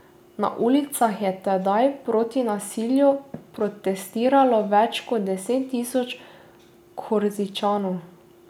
Na ulicah je tedaj proti nasilju protestiralo več deset tisoč Korzičanov.